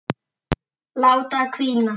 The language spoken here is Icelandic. Láta hvína.